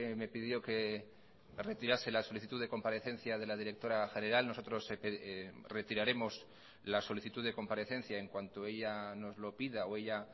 me pidió que retirase la solicitud de comparecencia de la directora general nosotros retiraremos la solicitud de comparecencia en cuanto ella nos lo pida o ella